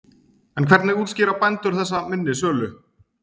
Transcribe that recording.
En hvernig útskýra bændur þessa minni sölu?